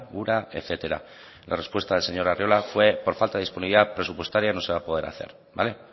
ura etcétera la respuesta del señor arriola fue por falta de disponibilidad presupuestaria no se va a poder hacer vale